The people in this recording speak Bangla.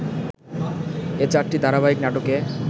এ চারটি ধারাবাহিক নাটকে